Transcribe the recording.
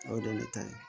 O de ye ne ta ye